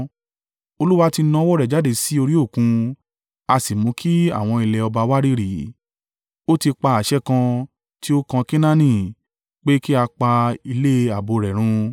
Olúwa ti na ọwọ́ rẹ̀ jáde sí orí Òkun ó sì mú kí àwọn ilẹ̀ ọba wárìrì. Ó ti pa àṣẹ kan tí ó kan Kenaani pé kí a pa ilé ààbò rẹ̀ run.